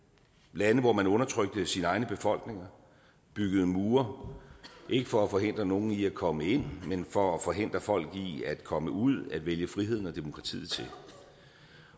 lande hvor man undertrykte sine egne befolkninger byggede mure ikke for at forhindre nogen i at komme ind men for at forhindre folk i at komme ud at vælge friheden og demokratiet til